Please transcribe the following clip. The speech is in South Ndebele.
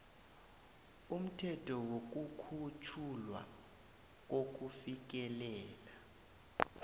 umthetho wokukhutjhulwa kokufikelela